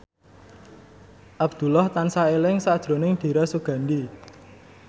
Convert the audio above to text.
Abdullah tansah eling sakjroning Dira Sugandi